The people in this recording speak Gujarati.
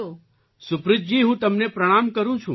સુપ્રીતજી હું તમને પ્રણામ કરું છું